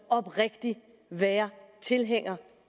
oprigtigt være tilhænger